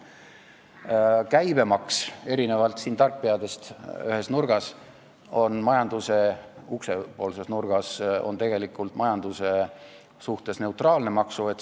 Erinevalt sellest, mida arvavad tarkpead siin ühes nurgas, uksepoolses nurgas, on käibemaks OECD analüüside kohaselt tegelikult majanduse suhtes neutraalne maks.